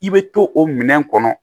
I bɛ to o minɛn kɔnɔ